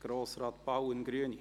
Grossrat Bauen, Grüne.